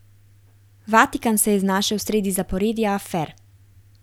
Vatikan se je znašel sredi zaporedja afer.